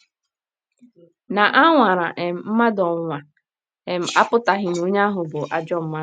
Na a nwara um mmadụ ọnwụnwa um apụtaghị na onye ahụ bụ ajọ mmadụ.